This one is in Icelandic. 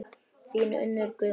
Þín Unnur Guðrún.